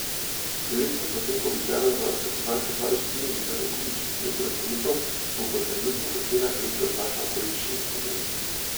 Če letni posek običajno znaša slabe štiri milijone kubičnih metrov bruto, bo po trenutnih ocenah letos znašal okoli šest milijonov.